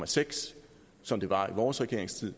seks som det var i vores regeringstid